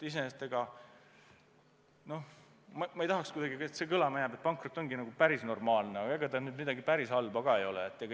Iseenesest ma ei tahaks, et jääks kuidagi kõlama, et pankrot ongi päris normaalne asi, aga ega ta nüüd midagi päris halba ka ei ole.